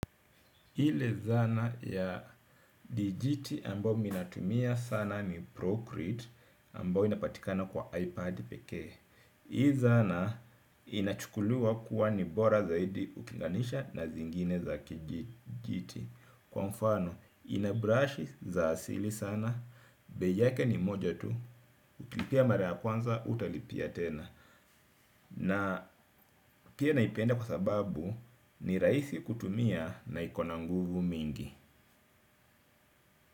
Ile zana ya dijiti ambayo miminatumia sana ni Procreate ambayo inapatikana kwa Ipad pekee. Hii zana inachukuliwa kuwa ni bora zaidi ukilinganisha na zingine za kijiti. Kwa mfano, inabrashi za asili sana. Beiyake ni moja tu, ukilipia maraya kwanza, hutalipia tena. Na pia naipenda kwa sababu ni rahisi kutumia na ikona nguvu mingi.